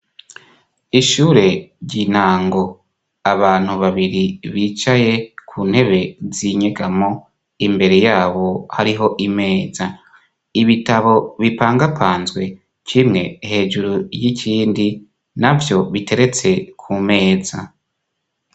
Ishure ry'intango ; abantu babiri bicaye ku ntebe z'inyegamo imbere yabo hariho imeza Ibitabo bipangapanzwe kimwe hejuru y'ikindi navyo biteretse ku meza.